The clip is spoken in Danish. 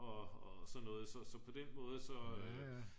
og så noget så og på den måde så